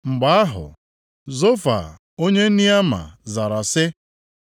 Mgbe ahụ, Zofa onye Neama zara sị: